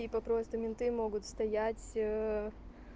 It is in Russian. либо просто менты могут стоять